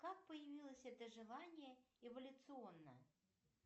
как появилось это желание эволюционно